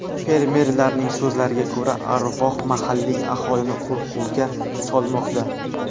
Fermerlarning so‘zlariga ko‘ra, arvoh mahalliy aholini qo‘rquvga solmoqda.